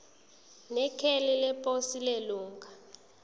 nekheli leposi lelunga